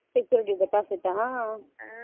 Security deposit ah